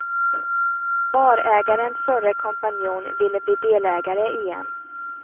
Barägarens förre kompanjon ville bli delägare igen.